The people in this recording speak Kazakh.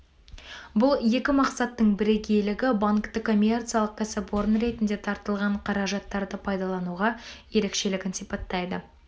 бұл екі мақсаттың бірегейлігі банкті коммерциялық кәсіпорын ретінде тартылған қаражаттарды пайдалануға ерекшелігін сипаттайды